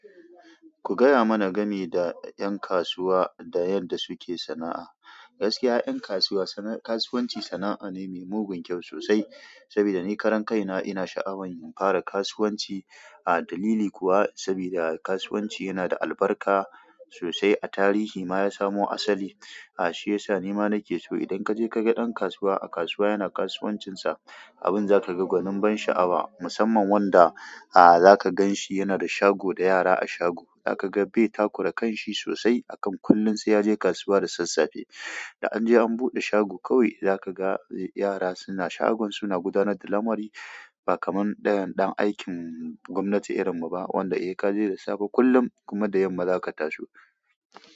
Ku gaya mana game da ƴan kasuwa da yadda suke sana'a. Gaskiya ƴan kasuwa, kasuwanci sana'a ne mai mugun kyau sosai. Saboda ni karan kai na ina sha'awan fara kasuwanci. A dalili kuwa saboda kasuwanci yana da albarka sosai a tarihi ma ya samo asali. Shiyasa ni ma na ke so idan kaje kaga ɗan kasuwa a kasuwa yana kasuwancinsa, abin zaka ga gwanin ban sha'awa. Musamman wanda zaka gan shi yana da shago da yara a shago. Zaka ga bai takura kanshi sosai akan kullum sai yaje kasuwa da sassafe. Da an je an buɗe shago kawai zaka ga yara suna shagon su na gudanar da lamari ba kamar ɗayan ɗan aikin gwamnati irin mu ba wanda sai kaje da safe kullum kuma da yamma zaka taso.